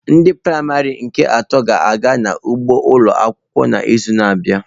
Ndị praịmarị nke atọ ga-aga n'ugbo ụlọ akwụkwọ n'izu na-abịa.